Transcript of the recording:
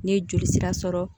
Ne ye joli sira sɔrɔ